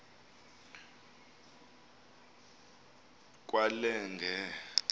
kwelenge